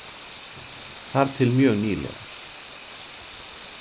Þar til mjög nýlega.